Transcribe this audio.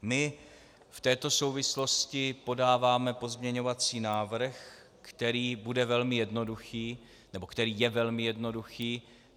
My v této souvislosti podáváme pozměňovací návrh, který bude velmi jednoduchý, nebo který je velmi jednoduchý.